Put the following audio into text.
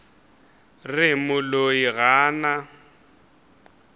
re moloi ga a na